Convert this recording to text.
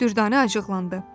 Dürdanə acıqlandı.